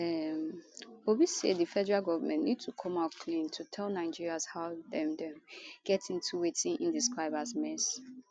um obi say di federal govment need to come out clean to tell nigerians how dem dem get into wetin e describe as mess